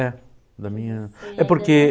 É, da minha... É porque